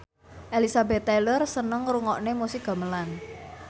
Elizabeth Taylor seneng ngrungokne musik gamelan